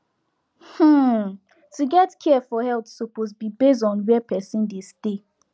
hmm to get care for health suppose be base on where person dey stay